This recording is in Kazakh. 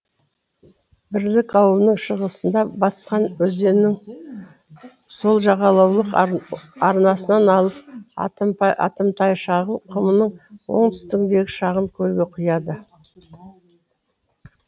бірлік ауылының шығысында басқан өзенінің сол жағалаулық арнасынан алып атымтайшағыл құмының оңтүстігіндегі шағын көлге құяды